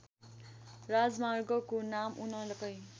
राजमार्गको नाम उनकै